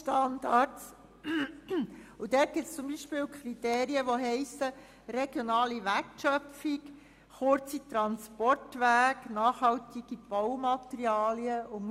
Es gibt Kriterien, die unter vielen anderen heissen: «Regionale Wertschöpfung», «Kurze Transportwege» und «Nachhaltige Baumaterialien».